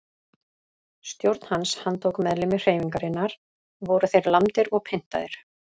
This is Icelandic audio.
Stjórn hans handtók meðlimi hreyfingarinnar og voru þeir lamdir og pyntaðir.